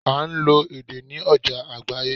À n lo èdè ní ojà àgbáyé